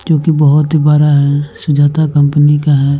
जो की बोहोत ही बरा हैं सुजाता कंपनी का हैं।